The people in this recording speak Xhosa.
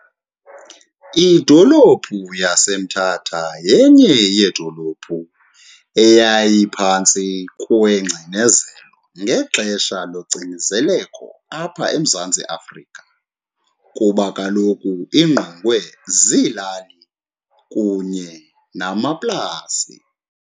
Idolophu yaseMthatha yenye yedolophu eyayiphantsi kwengcinezelo ngexesha locinezeleko apha eMzantsi Afrika kuba kaloku ingqongwe ziilali kunye namaplasi.